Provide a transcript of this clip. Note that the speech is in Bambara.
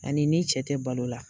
A ni ni n cɛ te balo la